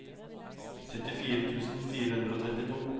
syttifire tusen fire hundre og trettito